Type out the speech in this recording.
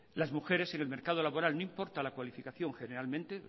las mujeres en el mercado laboral no importa la cualificación generalmente